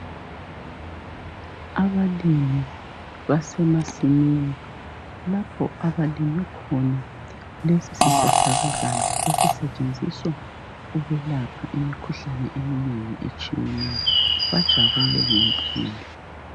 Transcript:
Abalimi basemasimini lapho abalime khona lesi sihlahlakazana esisetshenziswa ukulapha imikhuhlane eminengi etshiyeneyo. Bajabule ngempumela.